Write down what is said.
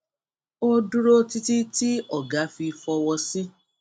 ó dúró títí tí ọga fi fọwọ sí